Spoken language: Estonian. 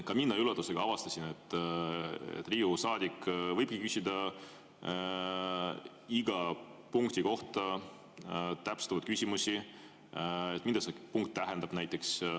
Ka mina üllatusega avastasin, et Riigikogu saadik võibki küsida iga punkti kohta täpsustavaid küsimusi, mida see punkt tähendab näiteks.